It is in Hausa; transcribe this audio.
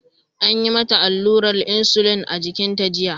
An yi mata allurar insulin a jikinta jiya.